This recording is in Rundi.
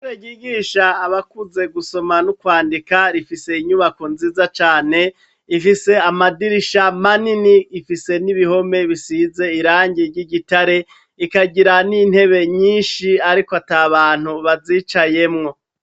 Ishure ryigisha abakuze gusoma no kwandika rifise inyubako nziza cane. Rifise amadirisha manini rifise n'ibihome bisize irangi ry'igitare rikagira n'intebe nyinshi ariko ata bantu bazicayemwo.